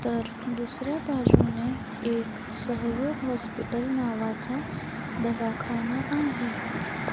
तर दुसऱ्या बाजूने एक सहयोग हॉस्पिटल नावाचा दवाखाना आहे.